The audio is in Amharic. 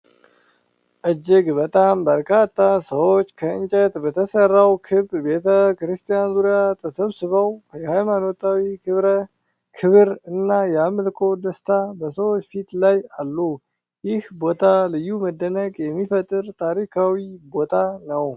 እጅግ በጣም በርካታ ሰዎች ከእንጨት በተሠራው ክብ ቤተ-ክርስቲያን ዙሪያ ተሰብስበው የሃይማኖታዊ ክብር እና የአምልኮ ደስታ በሰዎች ፊት ላይ አሉ። ይህ ቦታ ልዩ መደነቅ የሚፈጥር ታሪካዊ ቦታ ነው።